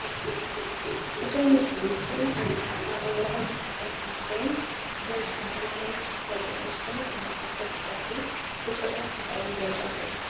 እቶም ሙስሊም ዝኾነ ዓይነት ሓሳብ ኣብ ወረቀት ፅሒፎም ኣብ ፍሬም ዘርጊሖም ሰላማዊ ሰልፊ ወፂኦም ዝኾነ ዓይነት ሕቶ ብሰልፊ ፣ ብጭርሖ ሓሳቦም ይገልፁ ኣለዉ፡፡